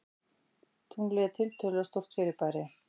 Tunglið er tiltölulega stórt fyrirbæri.